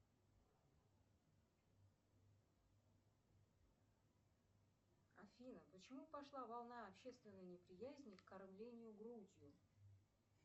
афина почему пошла волна общественной неприязни к кормлению грудью